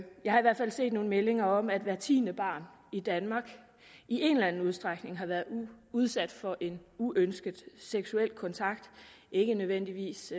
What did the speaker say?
jeg har i hvert fald set nogle meldinger om at hver tiende barn i danmark i en eller anden udstrækning har været udsat for en uønsket seksuel kontakt ikke nødvendigvis